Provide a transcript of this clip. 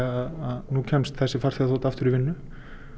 að nú kemst þessi þota aftur í vinnu